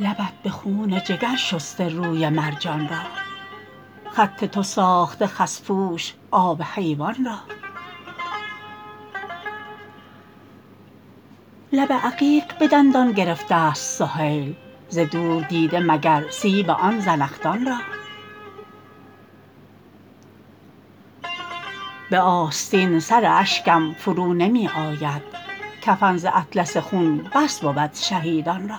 لبت به خون جگر شسته روی مرجان را خط تو ساخته خس پوش آب حیوان را لب عقیق به دندان گرفته است سهیل ز دور دیده مگر سیب آن زنخدان را به آستین سر اشکم فرو نمی آید کفن ز اطلس خون بس بود شهیدان را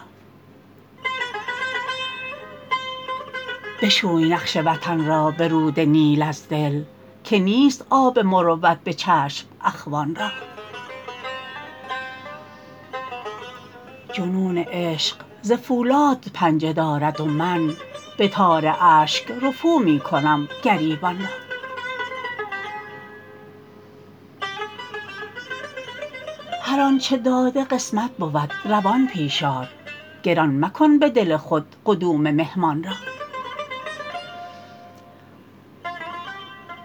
بشوی نقش وطن را به رود نیل از دل که نیست آب مروت به چشم اخوان را جنون عشق ز فولاد پنجه دارد و من به تار اشک رفو می کنم گریبان را هر آنچه داده قسمت بود روان پیش آر گران مکن به دل خود قدوم مهمان را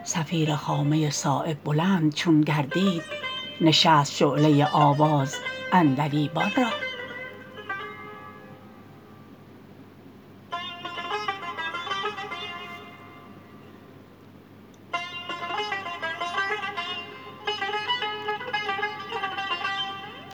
صفیر خامه صایب بلند چون گردید نشست شعله آواز عندلیبان را